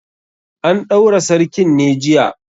An ɗaura sarkin ne jiya?